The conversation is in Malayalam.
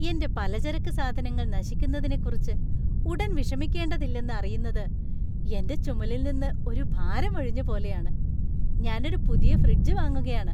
എന്റെ പലചരക്ക് സാധനങ്ങൾ നശിക്കുന്നതിനെക്കുറിച്ച് ഉടൻ വിഷമിക്കേണ്ടതില്ലെന്ന് അറിയുന്നത് എന്‍റെ ചുമലിൽ നിന്ന് ഒരു ഭാരം ഒഴിഞ്ഞ പോലെയാണ്. ഞാൻ ഒരു പുതിയ ഫ്രിഡ്ജ് വാങ്ങുകയാണ്.